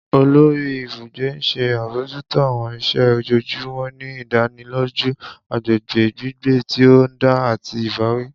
Olori ibugbe n ṣe abojuto àwọn iṣẹ ojoojumọ, ni idaniloju agbegbe gbigbe ti o dan ati ibawi.